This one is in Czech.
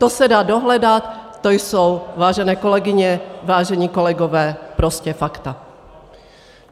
To se dá dohledat, to jsou, vážené kolegyně, vážení kolegové, prostě fakta!